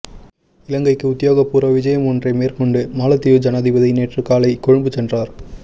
இலங்கைக்கு உத்தியோகபூர்வ விஜயம் ஒன்றை மேற்கொண்டு மாலைதீவு ஜனாதிபதி நேற்று காலை கொழும்பு சென்றார்